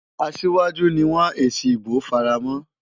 Asiwaju ni wọ́n èsì ìbò fara mọ́.